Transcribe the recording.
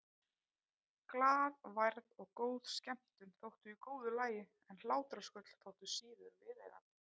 Glaðværð og góð skemmtun þóttu í góðu lagi en hlátrasköll þóttu síður viðeigandi.